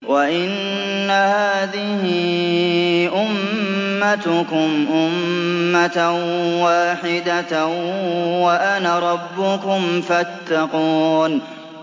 وَإِنَّ هَٰذِهِ أُمَّتُكُمْ أُمَّةً وَاحِدَةً وَأَنَا رَبُّكُمْ فَاتَّقُونِ